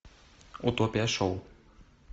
утопия шоу